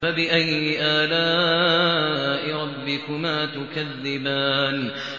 فَبِأَيِّ آلَاءِ رَبِّكُمَا تُكَذِّبَانِ